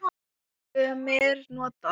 Sumir nota